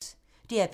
DR P3